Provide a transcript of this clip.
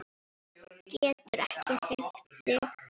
Getur ekki hreyft sig.